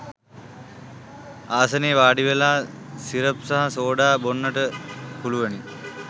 ආසනයේ වාඩිවෙලා සිරප් සහ සෝඩා බොන්නට පුළුවනි.